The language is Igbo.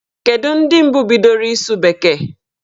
Kedu ndị mbụ bidoro ịsụ bekee?